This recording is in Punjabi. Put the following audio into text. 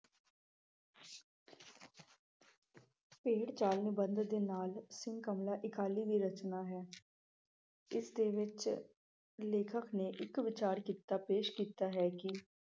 ਭੇਡ ਚਾਲ ਵਰਣਨ ਦੇ ਲਾਲ ਸਿੰਘ ਕਮਲਾ ਅਕਾਲੀ ਦੀ ਰਚਨਾ ਹੈ। ਇਸਦੇ ਵਿੱਚ ਲੇਖਕ ਨੇ ਇੱਕ ਵਿਸ਼ਾਲ ਕਿੱਤਾ ਪੇਸ਼ ਕੀਤਾ ਹੈ ਕਿ